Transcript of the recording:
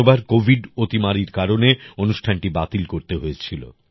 গতবার কোভিড অতিমারীর কারণে অনুষ্ঠানটি বাতিল করতে হয়েছিল